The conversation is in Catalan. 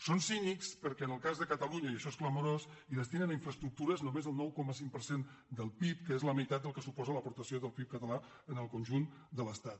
són cínics perquè en el cas de catalunya i això és clamorós destinen a infraestructures només el nou coma cinc per cent del pib que és la meitat del que suposa l’aporta·ció del pib català en el conjunt de l’estat